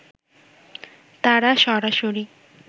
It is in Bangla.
তারা সরাসরি